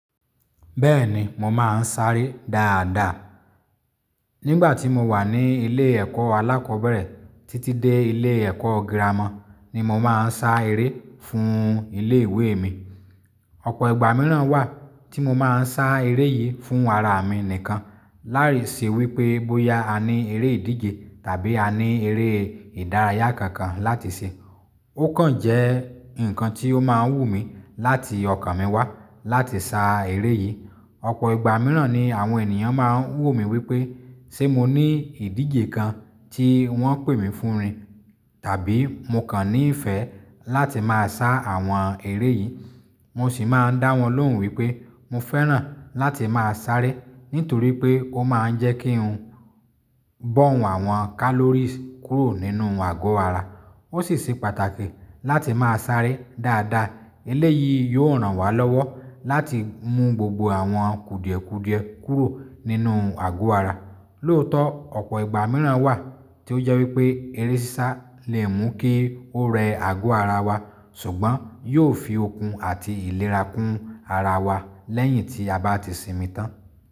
Bẹ́ẹ̀ni, mo máa ń sáré dáadáa. Nígbà tí mo wà ní ilé ẹ̀kọ́ alákọ̀ọ́bẹ̀rẹ̀ títí dé ilé ẹ̀kọ́ girama ni mo máa ń sá eré fún ilé ìwé mi. Ọ̀pọ̀ ìgbà mìíràn wà tí mo máa ń sá eré yìí fún ara mi nìkan. Lárí ṣe wípé bóyá a ní eré ìdíje tàbí a ní eré ìdárayá kankan láti ṣe. Ó kàn jẹ́ ǹkan tí ó máa ń wù mí láti ọkàn mi wá láti sá eré yìí. Ọ̀pọ̀ ìgbà mìíràn ni àwọn ènìyàn máa ń wò mí wípé, ṣe mo ní ìdíje kan tí wọ́n pè mí fún ní? Tàbí mo kàn ní ìfẹ́ láti máa sá àwọn eré yìí? Mo sì máa ń dá wọn lóhùn wípé mo fẹ́ràn láti máa sáré, nítorí pé ó máa ń jẹ́ kí n burn àwọn calories kúrò nínú àgọ́ ara. Ó sì ṣe pàtàkì láti máa sáré dáadáa. Eléyìí yóò ràn wá lọ́wọ́ láti mú gbogbo àwọn kùdìẹ̀kùdìẹ̀ kúrò nínú àgọ́ ara. Lóòótọ́, ọ̀pọ̀ ìgbà mìíràn wà tí ó jẹ́ wípé eré sísá lè mú kí ó rẹ àgọ́ ara wa, ṣùgbọ́n yóò fi okun àti ìlera kún ara wa lẹ́yìn tí a bá ti sinmi tán.